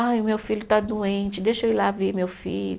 Ai, o meu filho está doente, deixa eu ir lá ver meu filho.